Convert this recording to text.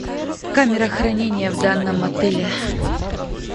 камера хранения в данном отеле